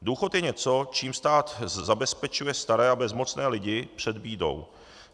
Důchod je něco, čím stát zabezpečuje staré a bezmocné lidi před bídou.